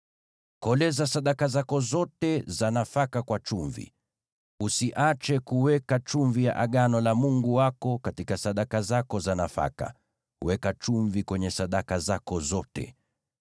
Koleza sadaka zako zote za nafaka kwa chumvi. Usiache kuweka chumvi ya Agano la Mungu wako katika sadaka zako za nafaka; weka chumvi kwenye sadaka zako zote.